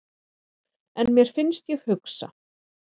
En mér finnst ég hugsa.